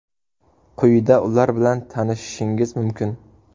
Quyida ular bilan tanishishingiz mumkin.